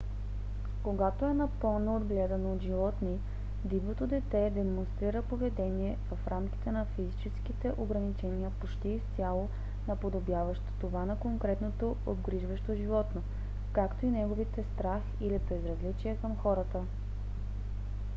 когато е напълно отгледано от животни дивото дете демонстрира поведение в рамките на физическите ограничения почти изцяло наподобяващо това на конкретното обгрижващо животно както и неговите страх или безразличие към хората